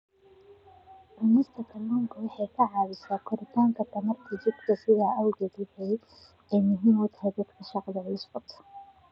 Cunista kalluunku waxa ay caawisaa korodhka tamarta jidhka, sidaas awgeed waxa ay muhiim u tahay dadka shaqo culus qabta.